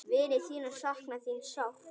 Vinir þínir sakna þín sárt.